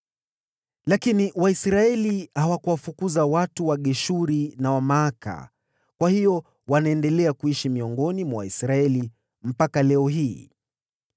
Lakini Waisraeli hawakuwafukuza watu wa Geshuri na wa Maaka, kwa hiyo wanaendelea kuishi miongoni mwa Waisraeli mpaka leo hii.